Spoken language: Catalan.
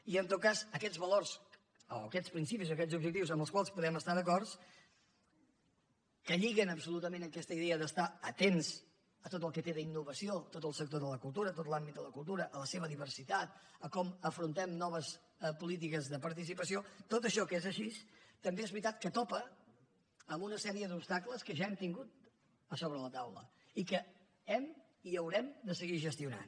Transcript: i en tot cas aquests valors o aquests principis o aquests objectius amb els quals podem estar d’acord que lliguen absolutament aquesta idea d’estar atents a tot el que té d’innovació tot el sector de la cultura tot l’àmbit de la cultura a la seva diversitat a com afrontem noves polítiques de participació tot això que és així també és veritat que topa amb una sèrie d’obstacles que ja hem tingut a sobre la taula i que hem i que haurem de seguir gestionant